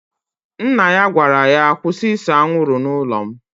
Nna ya gwara ya, kwụsị ịse anwụrụ n'ụlọ m!